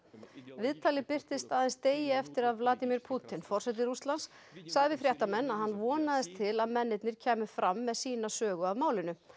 viðtalið birtist aðeins degi eftir að Vladimír Pútín forseti Rússlands sagði við fréttamenn að hann vonaðist til að mennirnir kæmu fram með sína sögu af málinu